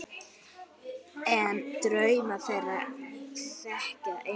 En draum þeirra þekkti enginn.